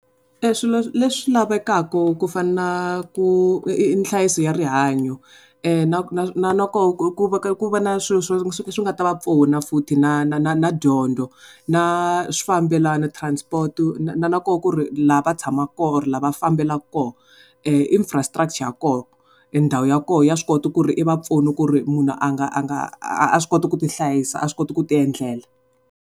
Swilo leswi lavekaka ku fana na ku i nhlayiso ya rihanyo na na na loko ku ve ka ku va na swilo swi nga ta va pfuna futhi na na na na dyondzo na swifambelano transport na na loko ku ri laha va tshamaka kona or laha va fambelaka kona infrastructure ya kona i ndhawu ya kona ndhawu ya kona ya swi kota ku ri i va pfuna ku ri munhu a nga a nga a swi kota ku ti hlayisa a swi kota ku ti endlela.